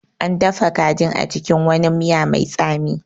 An dafa kajin a cikin wani miya mai tsami